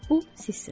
Bu sizsiniz.